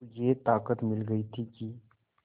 को ये ताक़त मिल गई थी कि